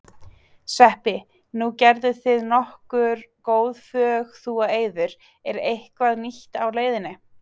Sveppi, nú gerðuð þið nokkur góð fögn þú og Eiður, er eitthvað nýtt á leiðinni?